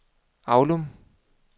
Avlum